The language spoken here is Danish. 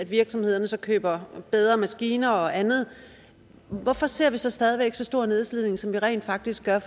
virksomhederne så køber bedre maskiner og andet hvorfor ser vi så stadig væk så stor en nedslidning som der rent faktisk sker